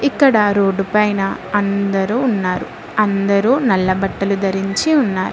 ఇక్కడ రోడ్డుపైన అందరూ ఉన్నారు అందరూ నల్ల బట్టలు ధరించి ఉన్నారు.